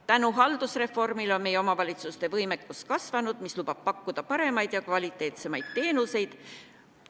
Tänu haldusreformile on meie omavalitsuste võimekus kasvanud, mis lubab pakkuda paremaid ja kvaliteetsemaid teenuseid.